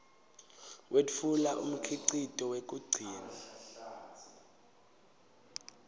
wetfula umkhicito wekugcina